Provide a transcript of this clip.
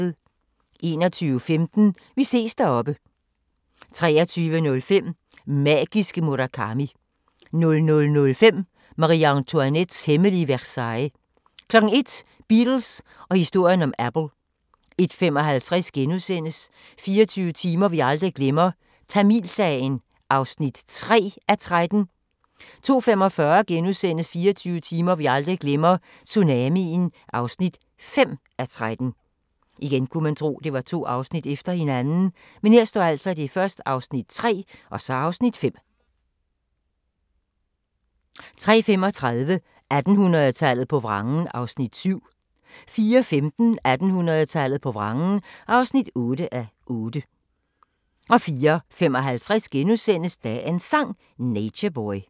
21:15: Vi ses deroppe 23:05: Magiske Murakami 00:05: Marie-Antoinettes hemmelige Versailles 01:00: Beatles og historien om Apple 01:55: 24 timer vi aldrig glemmer – Tamilsagen (3:13)* 02:45: 24 timer vi aldrig glemmer – tsunamien (5:13)* 03:35: 1800-tallet på vrangen (7:8) 04:15: 1800-tallet på vrangen (8:8) 04:55: Dagens Sang: Nature Boy *